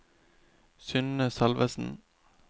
Synne Salvesen